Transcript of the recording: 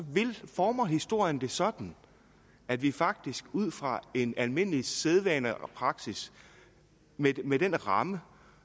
former historien det sådan at vi faktisk ud fra en almindelig sædvane og praksis med den ramme